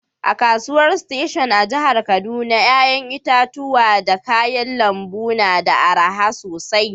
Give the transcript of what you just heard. A'kasuwan station a'jihar Kaduna yayan itatuwa da kayan lambu na da araha sosai.